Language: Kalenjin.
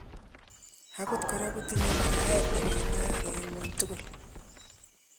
Akot kora kotinye bareet nekinaak en ng'wony tugul